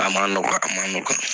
A ma nɔgɔ a nɔgɔya